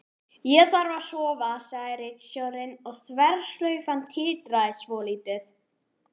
Ég þarf að sofa, sagði ritstjórinn og þverslaufan titraði svolítið.